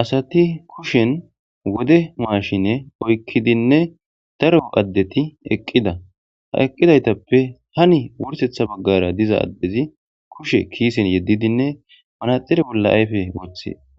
Asati kuushen woode mashshinne oykkidinne daaro addeti eqqida ha eqqidaytappe haani wurssetha baggera diiza adezi kushshe kissen yeddidine